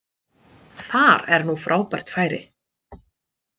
Þar er nú frábært færi